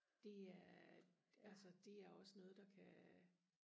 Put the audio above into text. det er altså det er også noget der kan